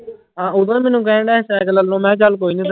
ਹਾਂ ਉਹ ਵੀ ਮੈਨੂੰ ਕਹਿੰਦਾ ਸਾਇਕਲ ਲੈਣ ਨੂੰ ਮੈਂ ਕਿਹਾ ਚੱਲ ਕੋਈ ਨੀ।